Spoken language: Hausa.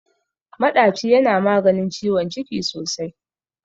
Maɗaci yana maganin ciwon ciki sosai.